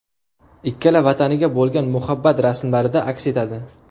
Ikkala vataniga bo‘lgan muhabbat rasmlarida aks etadi.